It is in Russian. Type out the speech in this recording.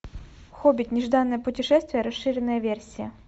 хоббит нежданное путешествие расширенная версия